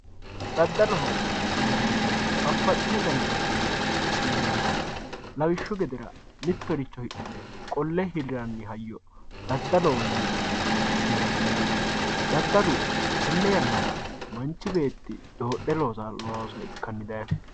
daddaloho yinannihu babbaxino dani daddali heeranno, lawishshu gedera mittoricho hidhine qolle hirranni hayyo daddaloho yine su'minanni yaate daddalu tenne yannara manchi beetti doodhe loosanno looso ikkanni dayiino.